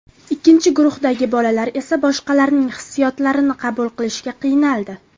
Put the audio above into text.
Ikkinchi guruhdagi bolalar esa boshqalarning hissiyotlarini qabul qilishga qiynaldi.